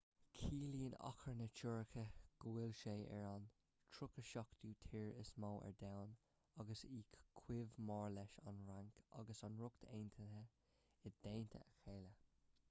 ciallaíonn achar na tuirce go bhfuil sé ar an 37ú tír is mó ar domhan agus í chomh mór leis an bhfrainc agus an ríocht aontaithe i dteannta a chéile